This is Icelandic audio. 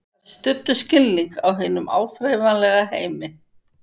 Þær studdu skilning á hinum áþreifanlega heimi.